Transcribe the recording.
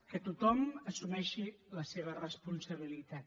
que tothom assumeixi la seva responsabilitat